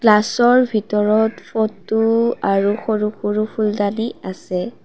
গ্লাছৰ ভিতৰত ফটো আৰু সৰু সৰু ফুলদানি আছে।